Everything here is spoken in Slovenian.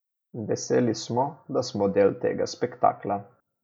Veseli smo, da smo del tega spektakla.